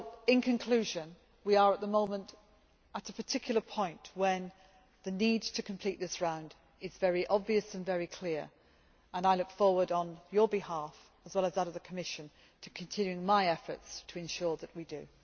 In conclusion, we are at the moment at a particular point where the need to complete this round is very obvious and very clear, and I look forward, on your behalf as well as that of the Commission to continuing my efforts to ensure that we do.